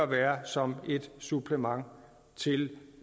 være som et supplement til